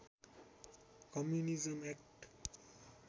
communism act